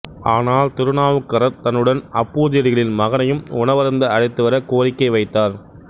ஆனால் திருநாவுக்கரர் தன்னுடன் அப்பூதியடிகளின் மகனையும் உணவருந்த அழைத்துவர கோரிக்கை வைத்தார்